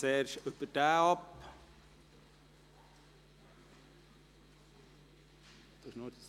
Auch dieses Geschäft ist an die Regierung zurückgewiesen worden, mit 132 Ja- gegen 12 Nein-Stimmen bei 5 Enthaltungen.